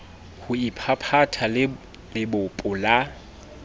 ho iphaphatha le lebopo la